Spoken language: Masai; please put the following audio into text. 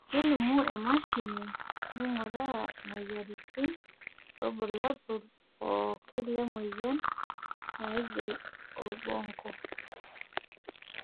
kelimu emashini nainguraa imoyiaritin irbulabol pookin le moyian naing'ial orbonko.